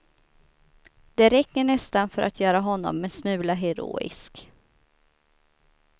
Det räcker nästan för att göra honom en smula heroisk.